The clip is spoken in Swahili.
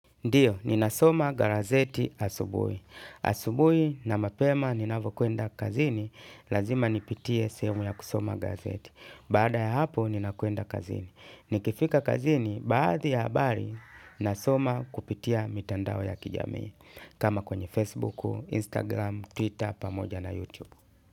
Ndiyo, ninasoma garazeti asubui. Asubui na mapema ninavokuenda kazini. Lazima nipitie sehemu ya kusoma gazeti. Baada ya hapo, ninakuenda kazini. Nikifika kazini, baadhi ya habari, nasoma kupitia mitandao ya kijamii. Kama kwenye Facebook, Instagram, Twitter, pamoja na YouTube.